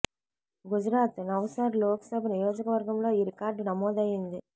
Gujarat Navsari Lok Sabha నియోజకవర్గంలో ఈ record నమోదైంది